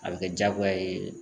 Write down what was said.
A bɛ kɛ jagoya ye.